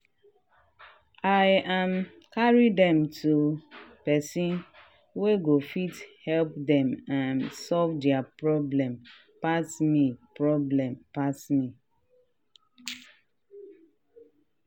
i um carry dem to person wey go fit help dem um solve dia problem pass me problem pass me.